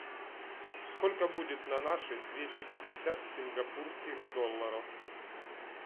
сколько будет на наши двести пятьдесят сингапурских долларов